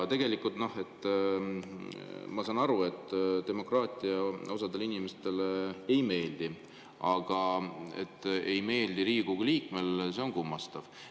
Ma saan aru, et demokraatia osadele inimestele ei meeldi, aga et see ei meeldi Riigikogu liikmele, on kummastav.